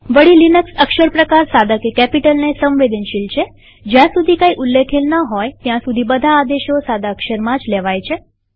વળી લિનક્સ અક્ષર પ્રકારસાદા કે કેપિટલને સંવેદનશીલ છેજ્યાં સુધી કઈ ઉલ્લેખેલ ન હોય ત્યાં સુધી બધા આદેશો સાદા અક્ષરમાં જ લેવાય છે